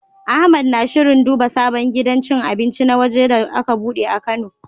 Ahmed na shirin duba sabon gidan cin abinci na waje da aka bude a Kano.